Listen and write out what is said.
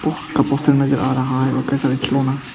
का पोस्टर नजर आ रहा है उनका सारा खिलौना।